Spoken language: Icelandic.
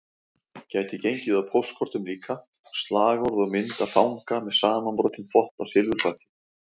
Gæti gengið á póstkortum líka, slagorð og mynd af fanga með samanbrotinn þvott á silfurfati